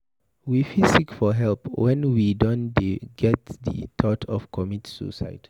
We fit seek for help when we don dey get di thought to commit suicide